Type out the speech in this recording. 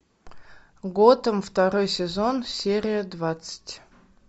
готэм второй сезон серия двадцать